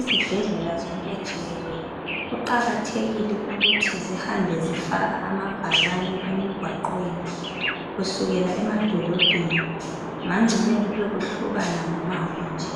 Izibhedlela zonke jikelele kuqakathekile ukuthi zihambe zifaka amabhakane emgwaqweni kusukela emadolobheni ngangcono kube kuhlukana ngomango nje.